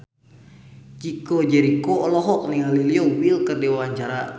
Chico Jericho olohok ningali Leo Bill keur diwawancara